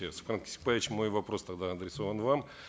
кесикбаевич мой вопрос тогда адресован вам